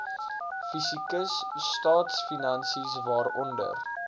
fiskus staatsfinansies waaronder